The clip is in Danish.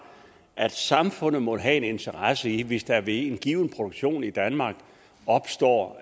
at samfundet må have en interesse i det hvis der ved en given produktion i danmark opstår